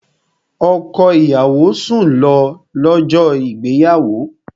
Ọkọ ìyàwó sùn lọ, lọ́jọ́ ìgbéyàwó